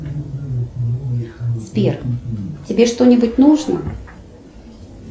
сбер тебе что нибудь нужно